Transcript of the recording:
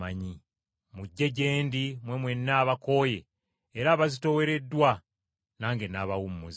“Mujje gye ndi mmwe mwenna abakooye era abazitoowereddwa, nange nnaabawummuza.